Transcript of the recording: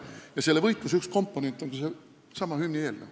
Ja selle võitluse üks komponent on seesama hümnieelnõu.